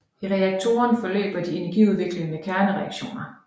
I reaktoren forløber de energiudviklende kernereaktioner